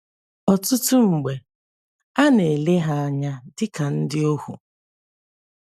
Ọtụtụ mgbe, a na - ele ha anya dị ka ndị ohu.